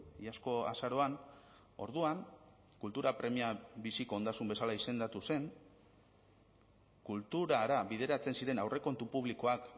iazko azaroan orduan kultura premia biziko ondasun bezala izendatu zen kulturara bideratzen ziren aurrekontu publikoak